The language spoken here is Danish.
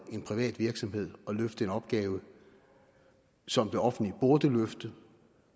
en privat virksomhed at løfte en opgave som det offentlige burde løfte